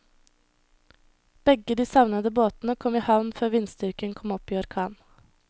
Begge de savnede båtene kom i havn før vindstyrken kom opp i orkan.